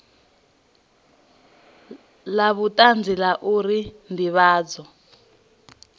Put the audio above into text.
la vhutanzi la uri ndivhadzo